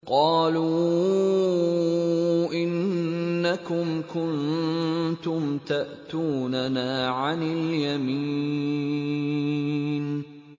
قَالُوا إِنَّكُمْ كُنتُمْ تَأْتُونَنَا عَنِ الْيَمِينِ